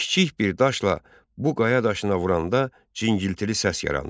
Kiçik bir daşla bu qaya daşına vuranda cingiltili səs yaranır.